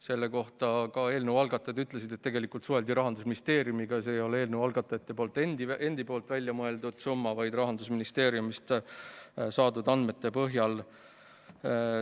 Selle kohta eelnõu algatajad ütlesid, et tegelikult suheldi Rahandusministeeriumiga ja see ei ole eelnõu algatajate endi välja mõeldud summa, vaid see kulu arvutati Rahandusministeeriumist saadud andmete põhjal.